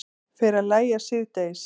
Fer að lægja síðdegis